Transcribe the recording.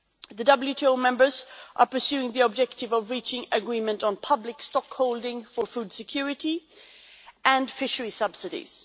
The WTO members are pursuing the objective of reaching agreement on public stock holding for food security and fishery subsidies.